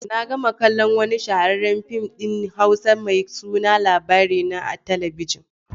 Na gama kallon wani shahararren fim din Hausa mai suna Labarina a talabijin.